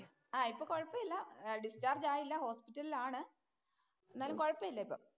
ആഹ് ഇപ്പം കൊഴപ്പയില്യ. ഡിസ്ചാര്‍ജ് ആയില്ല. ഹോസ്പിറ്റലില്‍ ആണ്. എന്നാലും കൊഴപ്പം ഇല്ല ഇപ്പൊ.